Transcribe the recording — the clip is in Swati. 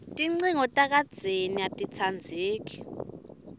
tincingo takadzeni atitsandzeki